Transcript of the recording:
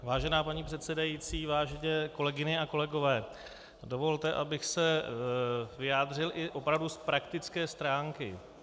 Vážená paní předsedající, vážené kolegyně a kolegové, dovolte, abych se vyjádřil i opravdu z praktické stránky.